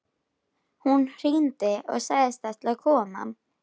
Hún hringdi og sagðist ætla að koma.